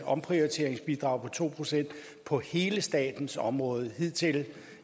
omprioriteringsbidrag på to procent på hele statens område hidtil